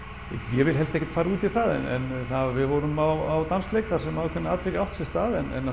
ég vil helst ekkert fara út í það en það var við vorum á dansleik þar sem ákveðið atvik átti sér stað en